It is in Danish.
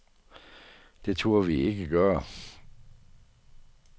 Det turde vi ikke gøre.